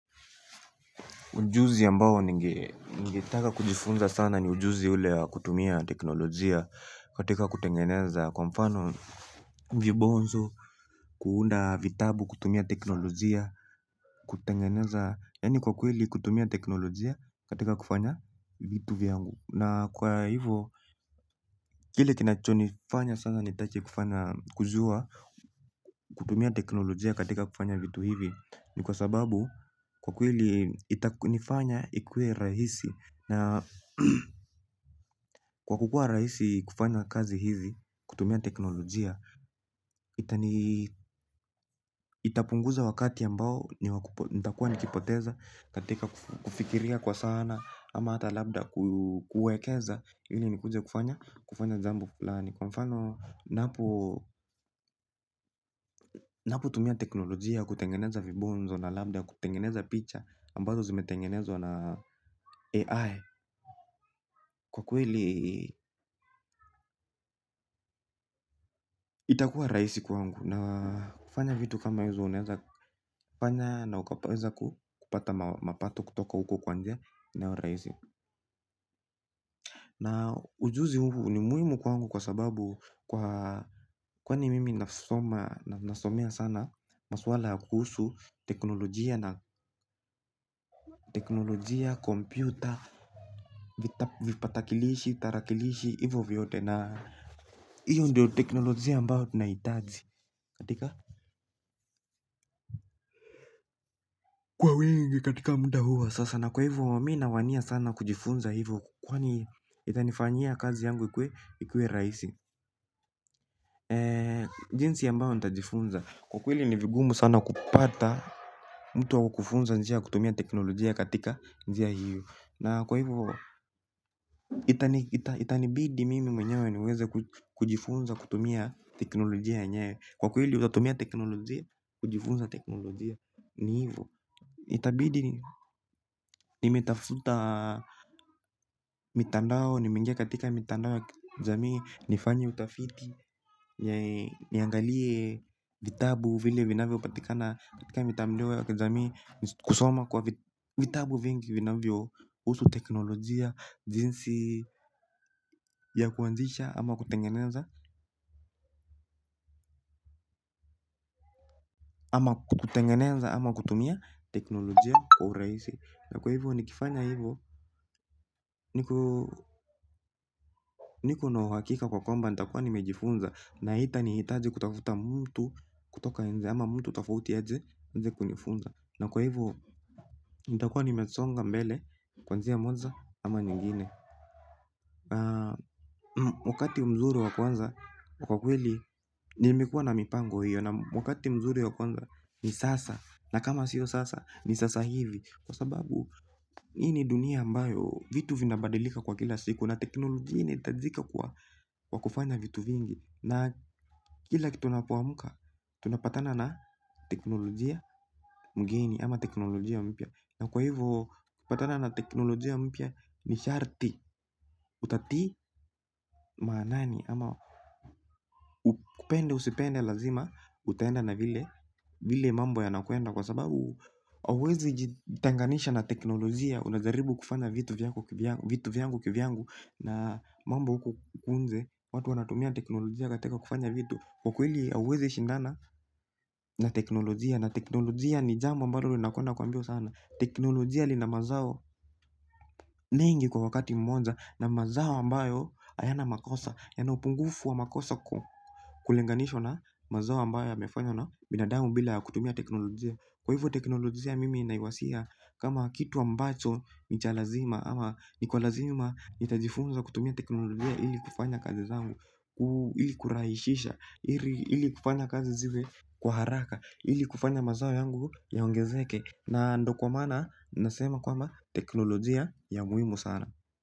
Ujuzi ambao ningetaka kujifunza sana ni ujuzi ule kutumia teknolojia katika kutengeneza. Kwa mfano vibonzo kuunda vitabu kutumia teknolojia kutengeneza. Yani kwa kweli kutumia teknolojia katika kufanya vitu viangu. Na kwa hivo kile kinacho nifanya sana nitache kujua kutumia teknolojia katika kufanya vitu hivi. Ni kwa sababu kwa kweli itakunifanya ikue rahisi. Na kwa kukua raisi kufanya kazi hizi, kutumia teknolojia, itapunguza wakati ambao nitakuwa nikipoteza, katika kufikiria kwa sana, ama hata labda kuekeza, hili nikuje kufanya, kufanya jambo flani. Kwa mfano napo tumia teknolojia kutengeneza vibonzo na lambda kutengeneza picha ambazo zimetengenezo na AI. Kwa kweli itakuwa raisi kwangu na kufanya vitu kama hizo uneza kufanya na ukapaweza kupata mapato kutoka huko kwanje na raisi. Na ujuzi huu ni muimu kwa angu kwa sababu kwa kwani mimi nasomea sana maswala kuhusu teknolojia na teknolojia, kompyuta, vipatakilishi, tarakilishi, hivyo vyote na hiyo ndiyo teknolojia ambao tunaitaji. Katika kwa wengi katika muda huu wa sasa na kwa hivyo mimi nawania sana kujifunza hivyo kwani itanifanyia kazi yangu ikuwe rahisi. Jinsi ambayo nitajifunza. Kwa kweli ni vigumu sana kupata mtu wa kukufunza njia kutumia teknolojia katika njia hiyo. Na kwa hivyo. Itanibidi mimi mwenyewe niweze kujifunza kutumia teknolojia yenyewe. Kwa kweli utatumia teknolojia kujifunza teknolojia ni hivyo. Itabidi nimetafuta mitandao nimeingia katika mitandao ya kijamii nifanye utafiti. Niangalie vitabu vile vinavyopatikana katika mitandao ya kijamii. Kusoma kwa vitabu vingi vinavyohusu teknolojia jinsi ya kuanzisha ama kutengeneza. Ama kutengeneza ama kutumia teknolojia kwa urahisi. Na kwa hivyo, nikifanya hivyo, nikona uhakika kwa kwamba, nitakuwa nimejifunza na haitanihitaji kutafuta mtu kutoka nje ama mtu tofauti aje kunifunza. Na kwa hivyo, nitakuwa nimesonga mbele, kuanzia mwanza ama nyingine. Wakati mzuri wa kuanza, kwa kweli, nimekuwa na mipango hiyo na wakati mzuri wa kuanza, ni sasa, na kama sio sasa, ni sasa hivi kwa sababu hii ni dunia ambayo vitu vinabadilika kwa kila siku na teknolojia inahitajika kwa kufanya vitu vingi na kila kitu unapoamuka tunapatana na teknolojia mgeni ama teknolojia mpya na kwa hivyo ukipatana na teknolojia mpya ni sharti utatii manani ama upende usipende lazima utaenda na vile mambo yanakwenda kwa sababu hauwezi jitenganisha na teknolojia. Unajaribu kufanya vitu vyangu kivyangu na mambo huku nje watu wanatumia teknolojia katika kufanya vitu. Kwa kweli hauwezi shindana na teknolojia na teknolojia ni jambo ambalo linakwenda kwa mbio sana. Teknolojia lina mazao mengi kwa wakati mmoja na mazao ambayo hayana makosa. Yana upungufu wa makosa kulinganishwa na mazao ambayo yamefanywa na binadamu bila ya kutumia teknolojia. Kwa hivyo teknolojia mimi naiwazia kama kitu ambacho ni cha lazima ama ni kwa lazima nitajifunza kutumia teknolojia ili kufanya kazi zangu. Ili kurahisisha, ili kufanya kazi ziwe kwa haraka, ili kufanya mazao yangu yaongezeke. Na ndio kwa maana nasema kwamba teknolojia ni ya muhimu sana.